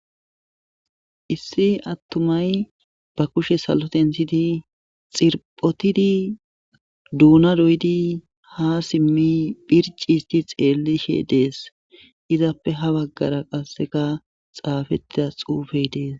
issi attumay ba kushe salotensidi xirphotidi duuna doyidi ha simmi phirciisti xeellishe dees izappe ha baggara qasseka xaafettida xuufey dees